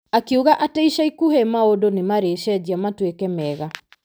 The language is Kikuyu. Akiuga atĩ ica ikuhĩ maũndũ nĩ marĩcenjia matuĩkĩ mega.